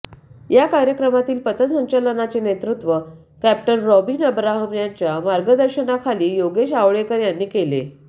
या कार्यक्रमातील पथसंचलनाचे नेतृत्व कॅप्टन रॉबिन अब्राहम यांच्या मार्गदर्शनाखाली योगेश आवळेकर यांनी केले